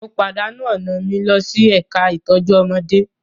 Mo pàdánù ọ̀nà mi lọ sí ẹ̀ka ìtọ́jú ọmọdé